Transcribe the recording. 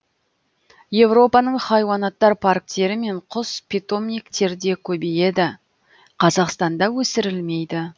европаның хайуанаттар парктері мен құс питомниктерде көбейеді қазақстанда өсірілмейді